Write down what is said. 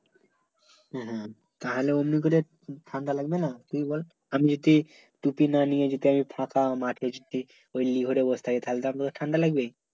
হ্যাঁ হ্যাঁ তা হলে অমনি করে ঠাণ্ডা লাগবে না তুই বল আমি যদি টুপি না নিয়ে যদি ফাকা মাঠে যদি ঐ লিভারে বসে থাকি তা হলে তো ঠাণ্ডা লাগবে